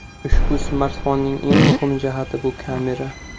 Ushbu smartfonning eng muhim jihati bu kamera.